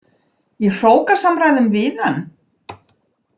Í hrókasamræðum við hann?